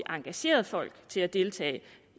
engageret folk til at deltage